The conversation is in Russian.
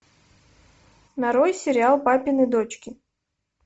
нарой сериал папины дочки